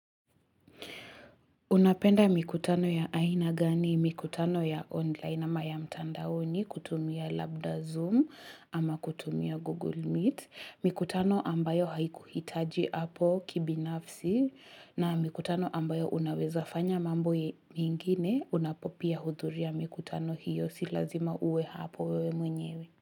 Unapenda mikutano ya aina gani, mikutano ya online ama ya mtandaoni kutumia Labda Zoom ama kutumia Google Meet. Mikutano ambayo haikuhitaji hapo kibinafsi na mikutano ambayo unaweza fanya mambo ye mengine unapopia hudhuria mikutano hiyo si lazima uwe hapo wewe mwenyewe.